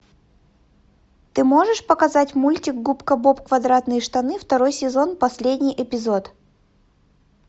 ты можешь показать мультик губка боб квадратные штаны второй сезон последний эпизод